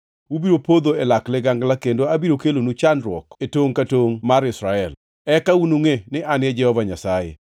Ubiro podho e lak ligangla, kendo abiro kelonu chandruok e tongʼ ka tongʼ mar Israel. Eka unungʼe ni An e Jehova Nyasaye.